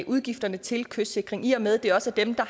udgifterne til kystsikring i og med det også er dem der